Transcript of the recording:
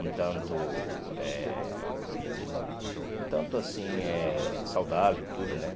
um tanto eh um tanto assim saudável tudo, né?